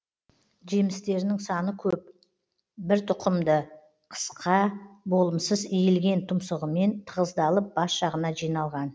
жемстерінің саны көп бір тұқымды қысқа болымсыз иілген тұмсығымен тығыздалып бас жағына жиналған